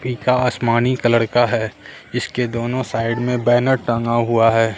पिका आसमानी कलर का है इसके दोनों साइड में बैनर टंगा हुआ है।